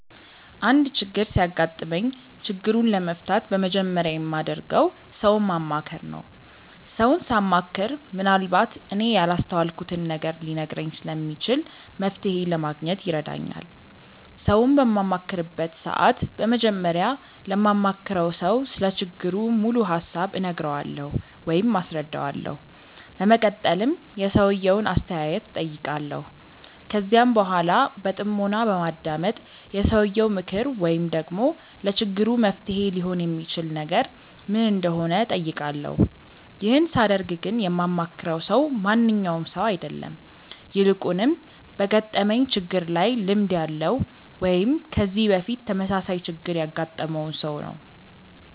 አንድ ችግር ሲያጋጥመኝ ችግሩን ለመፍታት በመጀመሪያ የማደርገው ሰውን ማማከር ነው። ሰውን ሳማክር ምንአልባት እኔ ያላስተዋልኩትን ነገር ሊነግረኝ ስለሚችል መፍተሔ ለማግኘት ይረዳኛል። ሰውን በማማክርበት ሰዓት በመጀመሪያ ለማማክረው ሰው ስለ ችግሩ ሙሉ ሀሳብ እነግረዋለሁ ወይም አስረዳዋለሁ። በመቀጠልም የሰውየውን አስተያየት እጠይቃለሁ። ከዚያም በኃላ በጥሞና በማዳመጥ የሰውየው ምክር ወይም ደግሞ ለችግሩ መፍትሔ ሊሆን የሚችል ነገር ምን እንደሆነ እጠይቃለሁ። ይህን ሳደርግ ግን የማማክረው ሰው ማንኛውም ሰው አይደለም። ይልቁንም በገጠመኝ ችግር ላይ ልምድ ያለው ወይም ከዚህ በፊት ተመሳሳይ ችግር ያገጠመውን ሰው ነው።